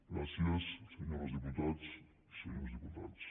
gràcies senyores diputades i senyors diputats